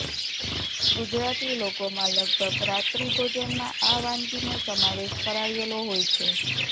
ગુજરાતી લોકોમાં લગભગ રાત્રી ભોજનમાં આ વાનગીનો સમાવેશ કરાયેલો હોય છે